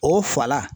O fa la